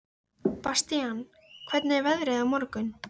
Bastían, hvernig er veðrið á morgun?